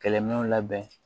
Kɛlɛminɛnw labɛn